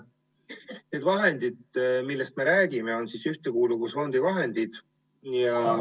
Need vahendid, millest me räägime, on Ühtekuuluvusfondi vahendid.